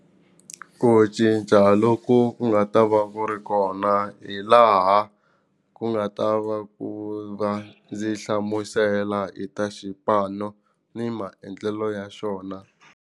Ku cinca loku ku nga ta va ku ri kona hi laha ku nga ta va ku va ndzi hlamusela hi ta xipano ni maendlelo ya xona.